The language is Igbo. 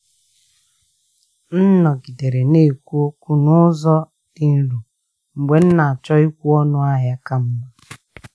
M nọgidere na-ekwu okwu n’ụzọ dị nro mgbe m na-achọ ịkwụ ọnụ ahịa ka mma.